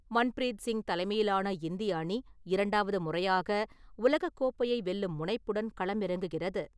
மன்பிரீத் சிங் தலைமையிலான இந்திய அணி இரண்டாவது முறையாக உலகக் கோப்பையை வெல்லும் முனைப்புடன் களமிறங்குகிறது.